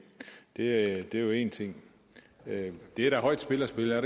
det er jo én ting det er da højt spil at spille er